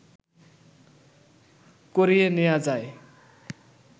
করিয়ে নেয়া যায়